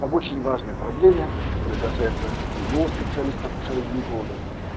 по очень важной проблеме которая касается любого специалист акушера-гинеколога